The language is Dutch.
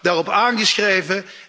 Ik heb de FIFA daarop aangeschreven.